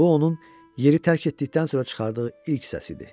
Bu onun yeri tərk etdikdən sonra çıxardığı ilk səs idi.